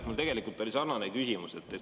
Mul oli tegelikult sarnane küsimus.